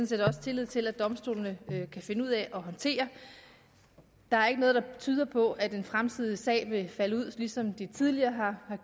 set også tillid til at domstolene kan finde ud af at håndtere der er ikke noget der tyder på at en fremtidig sag vil falde ud som de tidligere har